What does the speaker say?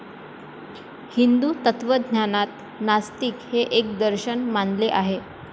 हिंदू तत्वज्ञानांत नास्तिक हे एक दर्शन मानले आहे.